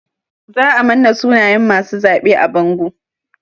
Za a manna sunayen masu zaɓe a bango.